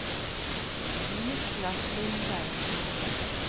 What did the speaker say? Niklas Lindberg